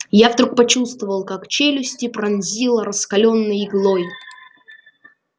я вдруг почувствовал как челюсти пронзило раскалённой иглой